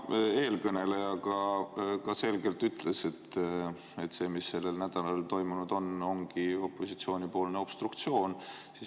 No ka eelkõneleja selgelt ütles, et see, mis sellel nädalal toimunud on, ongi opositsioonipoolne obstruktsioon.